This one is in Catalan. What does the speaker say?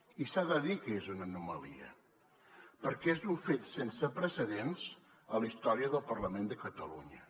i s’ha de dir que és una anomalia perquè és un fet sense precedents a la història del parlament de catalunya